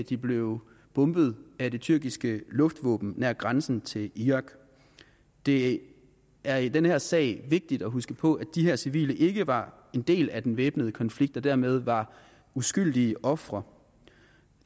de blev bombet af det tyrkiske luftvåben nær grænsen til irak det er i den her sag vigtigt at huske på at de her civile ikke var en del af den væbnede konflikt og dermed var uskyldige ofre